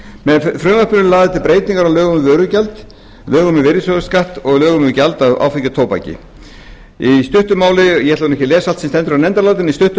með frumvarpinu eru lagðar til breytingar á lögum um vörugjald lögum um virðisaukaskatt og lögum um gjald af áfengi og tóbaki ég ætla nú ekki að lesa alt sem stendur í nefndarálitinu í stuttu